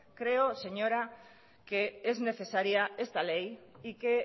creo señora que es necesaria esta ley y que